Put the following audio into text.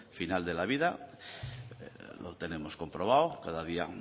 final de la vida lo tenemos comprobado cada día